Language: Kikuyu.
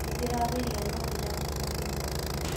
Nĩndĩrageria no ndirahota kũnyua mũno